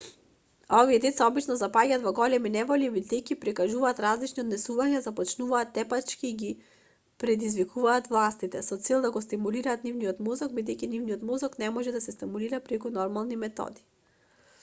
овие деца обично запаѓаат во големи неволји бидејќи прикажуваат ризични однесувања започнуваат тепачки и ги предизвикуваат властите со цел да го стимулираат нивниот мозок бидејќи нивниот мозок не може да се стимулира преку нормални методи